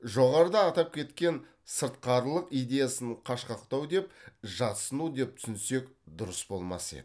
жоғарыда атап кеткен сыртқарылық идеясын қашқақтау деп жатсыну деп түсінсек дұрыс болмас еді